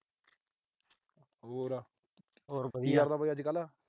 ਹੋਰ। ਕੀ ਕਰਦਾ ਵੀ ਅੱਜ-ਕੱਲ੍ਹ।